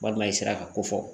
Walima i sera ka ko fɔ